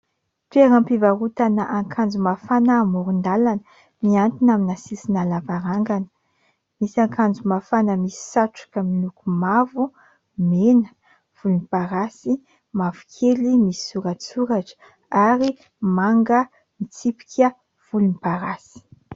Toeram-pivarotana akanjo mafana amoron-dàlana mihantona amina sisina lavarangana, misy akanjo mafana misy satroka miloko mavo, mena, volomparasy, mavokely misy soratsoratra ary manga mitsipika volomparasy.